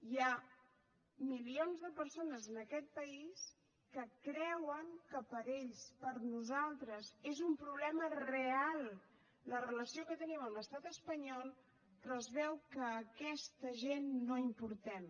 hi ha milions de persones en aquest país que creuen que per ells per nosaltres és un problema real la relació que tenim amb l’estat espanyol però es veu que aquesta gent no importem